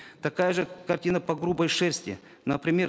такая же картина по грубой шерсти например